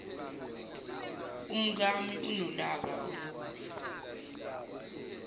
umkami unolaka olubi